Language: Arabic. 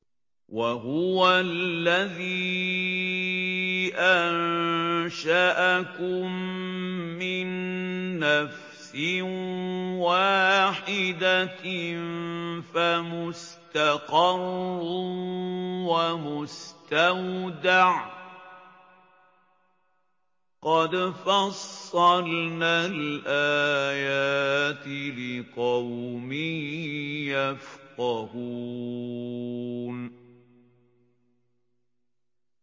وَهُوَ الَّذِي أَنشَأَكُم مِّن نَّفْسٍ وَاحِدَةٍ فَمُسْتَقَرٌّ وَمُسْتَوْدَعٌ ۗ قَدْ فَصَّلْنَا الْآيَاتِ لِقَوْمٍ يَفْقَهُونَ